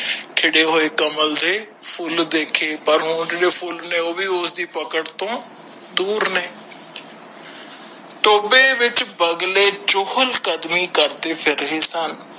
ਖਿੜੇ ਹੋਏ ਕਮਲ ਦੇ ਫੁੱਲ ਦੇਖੇ ਪਰ ਉਹ ਜਿਹੜੇ ਫੁਲ ਸਨ ਉਹ ਵੀ ਓਇਹਦੇ ਪਕੜ ਤੋਂ ਦੂਰ ਨੇ ਟੋਬੇ ਵਿਚ ਬਗਲੇ ਚੋਹਾਲ ਕਦਮੀ ਕਰਦੇ ਫਿਰਦੇ ਸਨ